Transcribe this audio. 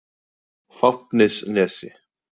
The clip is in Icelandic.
Fáfnisnesi